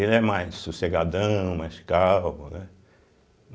Ele é mais sossegadão, mais calmo, né?